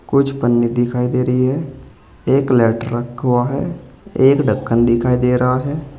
कुछ पन्नी दिखाई दे रही है एक लेटर रखा हुआ है एक ढक्कन दिखाई दे रहा है।